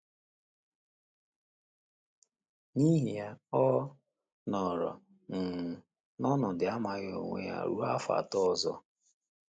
N’ihi ya, ọ nọrọ um n’ọnọdụ amaghị onwe ya ruo afọ atọ ọzọ.